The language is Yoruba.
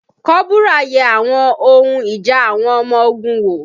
Kọ́bùrà yẹ àwọn ohun ìjà àwọn ọmọ ogun wò